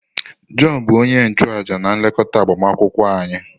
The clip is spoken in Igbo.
Jọn bụ onye nchụàjà na-elekọta agbamakwụkwọ anyị.